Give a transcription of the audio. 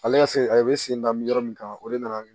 Ale ka se a ye ne sen da mi yɔrɔ min kan o de nana